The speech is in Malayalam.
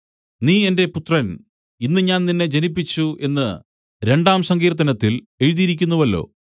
നീ എന്റെ പുത്രൻ ഇന്ന് ഞാൻ നിന്നെ ജനിപ്പിച്ചു എന്നു രണ്ടാം സങ്കീർത്തനത്തിൽ എഴുതിയിരിക്കുന്നുവല്ലോ